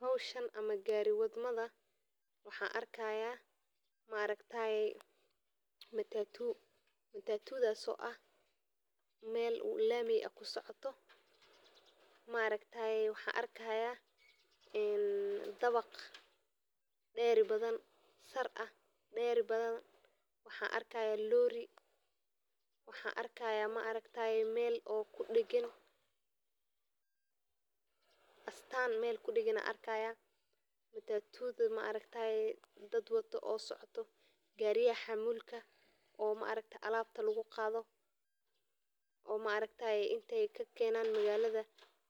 Hiwshan ama gari wad mada waxan arki haya maaragteye matatu, matatudhas oo ah meel u lamey kusocdo maragtaye waxan arki haya dawaq deri badan oo sar ah waxan arki haya Lori waxan arki haya meel kudagan astan meel kudagan ayan arki haya matatudha maragtaye dad wado oo socdo gariyaha maragtaye ee xamulka ee socdo alabta lagu qadho oo maragtaye inta ayey kakenan magaladha